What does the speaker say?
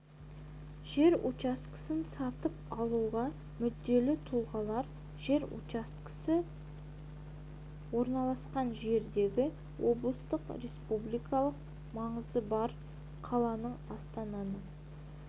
жер учаскесін сатып алуға мүдделі тұлғалар жер учаскесі орналасқан жердегі облыстың республикалық маңызы бар қаланың астананың